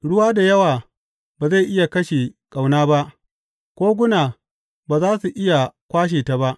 Ruwa da yawa ba zai iya kashe ƙauna ba, koguna ba za su iya kwashe ta ba.